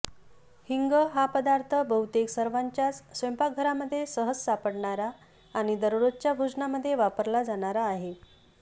हिंग हा पदार्थ बहुतेक सर्वांच्याच स्वयंपाकघरामध्ये सहज सापडणारा आणि दररोजच्या भोजनामध्ये वापरला जाणारा आहे